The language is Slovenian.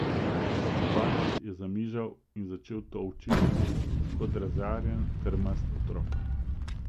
Bast je zamižal in začel tolči po mizi kot razjarjen, trmast otrok.